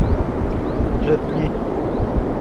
джет ли